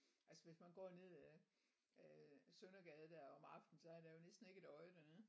Altså hvis man går ned af af Søndergade der om aftenen så er der jo næsten ikke et øje dernede